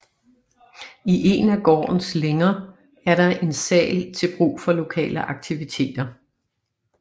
I en af gårdens længer er der en sal til brug for lokale aktiviteter